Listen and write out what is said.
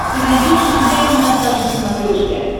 ты найдешь у себя киносат на смотрешке